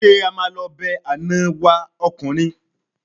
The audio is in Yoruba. Ṣé a máa lọ be àná wa ọkùnrin?